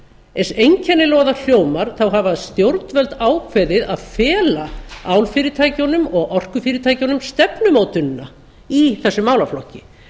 eins einkennilega og það hljómar þá hafa stjórnvöld ákveðið að fela álfyrirtækjunum og orkufyrirtækjunum stefnumótunina í þessum málaflokki